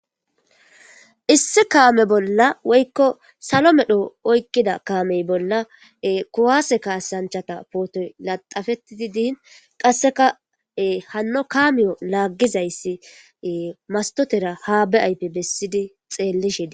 issi kaame bolla woykko salo medho oykkida kaamey bolla kuwaase kaasanchata puutey laxafetidi diin qasseka hanno kaamiyo laaggizayssi mastotera haa be7aype bessidi xeellishe des